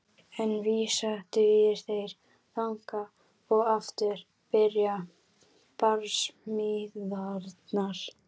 Ein vísa dugir, þeir þagna og aftur byrja barsmíðarnar.